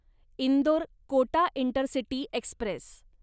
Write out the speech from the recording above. Indore Kota intercity Express